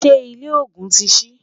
ṣé ilé ògún tí sí?